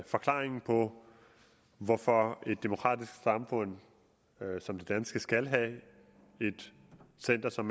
forklaring på hvorfor et demokratisk samfund som det danske skal have et center som